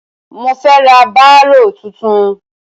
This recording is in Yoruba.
Mo fẹ ra bárò tuntun.